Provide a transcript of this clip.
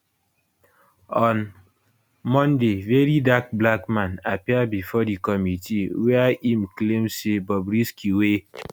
on monday verydarkblackman appear bifor di committee wia im claim say bobrisky wey